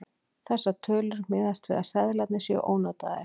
Þessar tölur miðast við að seðlarnir séu ónotaðir.